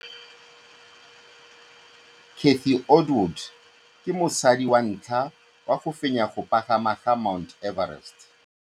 Cathy Odowd ke mosadi wa ntlha wa go fenya go pagama ga Mt Everest.